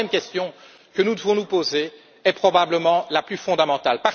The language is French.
La troisième question que nous devons nous poser est probablement la plus fondamentale.